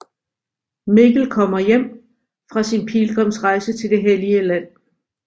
Mikkel kommer hjem fra sin pilgrimsrejse til det hellige land